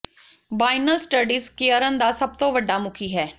ਬਾਈਨਲ studies ਕੇਅਰਨ ਦਾ ਸਭ ਤੋਂ ਵੱਡਾ ਮੁਖੀ ਹੈ